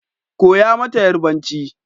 Koya mata yarbanci